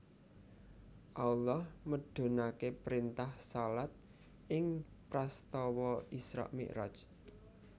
Allah mudhunaké printah shalat ing prastawa Isra Mi raj